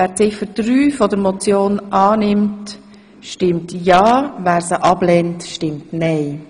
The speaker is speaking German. Wer Ziffer 3 der Motion annimmt, stimmt ja, wer dies ablehnt, stimmt nein.